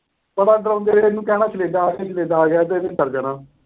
ਮਾੜਾ ਜਿਹਾ ਡਰਾਉਂਦੇ ਹੋਏ ਇਹਨੂੰ ਕਹਿਣਾ ਕਨੇਡਾ ਆ ਗਿਆ, ਅਹ ਕਨੇਡਾ ਆ ਗਿਆ। ਇਹਨੇ ਡਰ ਜਾਣਾ।